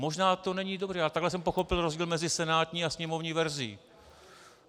Možná to není dobře, ale takhle jsem pochopil rozdíl mezi senátní a sněmovní verzí.